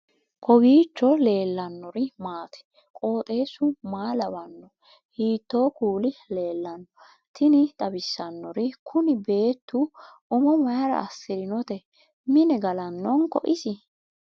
kowiicho leellannori maati ? qooxeessu maa lawaanno ? hiitoo kuuli leellanno ? tini xawissannori kuni beettu umo mayra assirinote mine galannonko isi